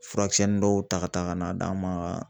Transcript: Furakisɛnnin dɔw ta ka taa ka n'a d'an ma